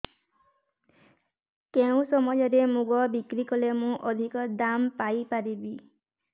କେଉଁ ସମୟରେ ମୁଗ ବିକ୍ରି କଲେ ମୁଁ ଅଧିକ ଦାମ୍ ପାଇ ପାରିବି